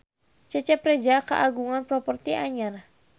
Cecep Reza kagungan properti anyar